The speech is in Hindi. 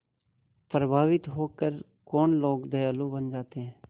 प्रभावित होकर कौन लोग दयालु बन जाते हैं